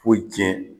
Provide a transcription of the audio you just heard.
Foyi tiɲɛ